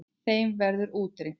Þeim verður útrýmt.